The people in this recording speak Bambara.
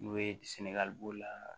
N'o ye b'o la